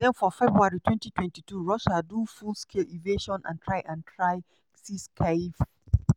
den for february 2022 russia do full-scale invasion and try and try seize kyiv.